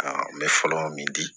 n bɛ fɔlɔ min di